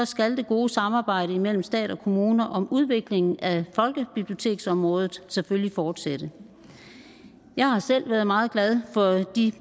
skal det gode samarbejde imellem stat og kommuner om udviklingen af folkebiblioteksområdet selvfølgelig fortsætte jeg har selv været meget glad for de